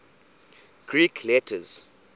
greek letters